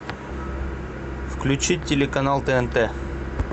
включи телеканал тнт